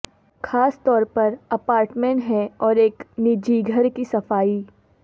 خاص طور پر اپارٹمنٹ ہے اور ایک نجی گھر کی صفائی